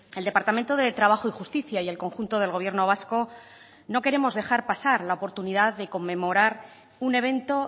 el departamento de trabajo y justicia y el conjunto del gobierno vasco no queremos dejar pasar la oportunidad de conmemorar un evento